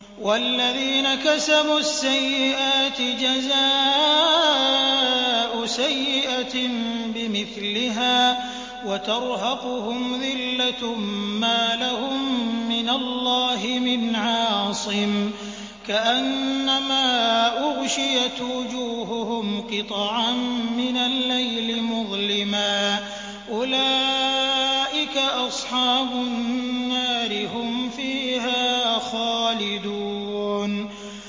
وَالَّذِينَ كَسَبُوا السَّيِّئَاتِ جَزَاءُ سَيِّئَةٍ بِمِثْلِهَا وَتَرْهَقُهُمْ ذِلَّةٌ ۖ مَّا لَهُم مِّنَ اللَّهِ مِنْ عَاصِمٍ ۖ كَأَنَّمَا أُغْشِيَتْ وُجُوهُهُمْ قِطَعًا مِّنَ اللَّيْلِ مُظْلِمًا ۚ أُولَٰئِكَ أَصْحَابُ النَّارِ ۖ هُمْ فِيهَا خَالِدُونَ